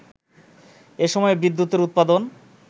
এসময়ে বিদ্যুতের উৎপাদন